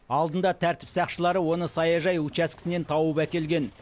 алдында тәртіп сақшылары оны саяжай учаскесінен тауып әкелген